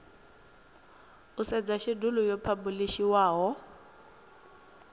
u sedza shedulu yo phabulishiwaho